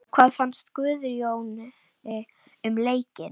Hvað fannst Guðjóni um leikinn?